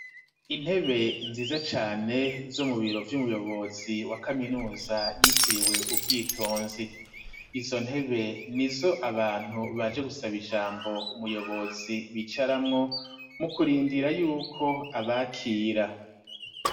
Intebe nziza cane, zo mu biro vy'umuyobozi wa kaminuza yitiriwe ubwitonzi; izo ntebe nizo abantu baje gusaba ijambo umuyobozi bicaramwo, mu kurindira y'uko abakira.